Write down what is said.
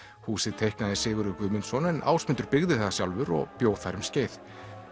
húsið teiknaði Sigurður Guðmundsson en Ásmundur byggði það sjálfur og bjó þar um skeið